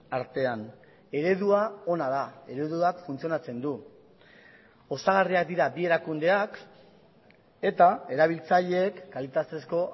artean eredua ona da ereduak funtzionatzen du osagarriak dira bi erakundeak eta erabiltzaileek kalitatezko